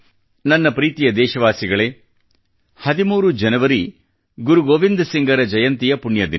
ನನ್ನ ಪ್ರೀತಿಯ ದೇಶವಾಸಿಗಳೇ 13 ಜನವರಿ ಗುರು ಗೋವಿಂದ ಸಿಂಗ ರ ಜಯಂತಿಯ ಪುಣ್ಯ ದಿನ